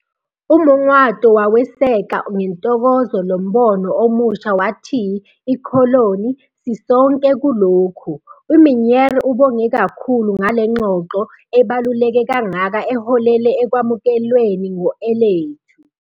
UMongoato waweseka ngentokozo lo mbono omusha wathi- 'Sisonke kulokhu'. UMinnaar ubonge kakhulu ngalengxoxo ebaluleke kangaka eholele ekwamukelweni ngo-elethu.